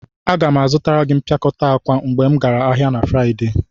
Aga m azụtara gị mpịakọta akwa mgbe m gara ahịa na Fraịde.